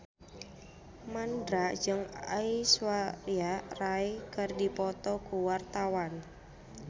Mandra jeung Aishwarya Rai keur dipoto ku wartawan